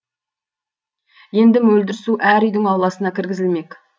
енді мөлдір су әр үйдің ауласына кіргізілмек